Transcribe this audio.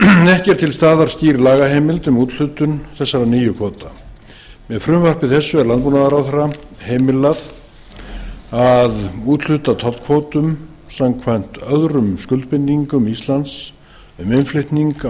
ekki er til staðar skýr lagaheimild um úthlutun þessara nýju kvóta með frumvarpi þessu er landbúnaðarráðherra heimilað að úthluta tollkvótum samkvæmt öðrum skuldbindingum íslands um innflutning á